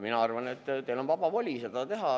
Mina arvan, et teil on vaba voli seda teha.